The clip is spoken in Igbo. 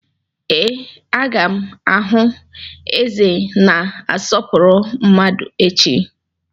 Ee, a ga m ahụ eze na-asọpụrụ mmadu echi.